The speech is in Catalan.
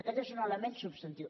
aquest és un element substantiu